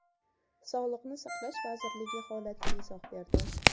Sog‘liqni saqlash vazirligi holatga izoh berdi.